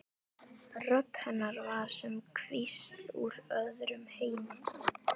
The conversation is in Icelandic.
Rödd hennar var sem hvísl úr öðrum heimi.